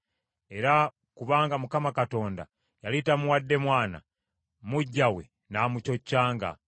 Era kubanga Mukama Katonda yali tamuwadde mwana, muggya we n’amucoccanga.